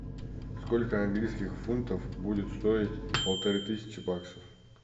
сколько английских фунтов будет стоить полторы тысячи баксов